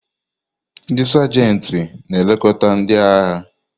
Ndị Sajanti na-elekọta ndị agha.